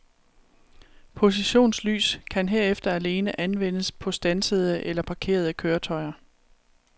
Positionslys kan herefter alene anvendes på standsede eller parkerede køretøjer.